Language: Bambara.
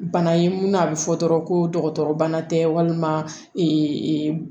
Bana ye mun a bɛ fɔ dɔrɔn ko dɔgɔtɔrɔ bana tɛ walima